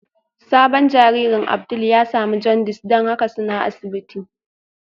Sabon jaririn Abdul ya samu jaundice don haka suna asibiti